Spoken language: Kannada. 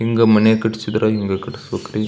ಹಿಂಗ ಮನೆ ಕಟ್ಟಿಸಿದ್ರ ಹಿಂಗ ಕಟ್ಟಿಸ್ಬೇಕು ರೀ .